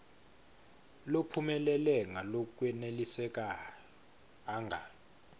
lophumelele ngalokwenelisako anga